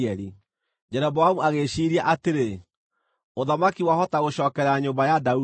Jeroboamu agĩĩciiria atĩrĩ, “Ũthamaki wahota gũcookerera nyũmba ya Daudi.